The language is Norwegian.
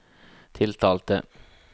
tiltalte